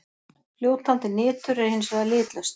Fljótandi nitur er hins vegar litlaust.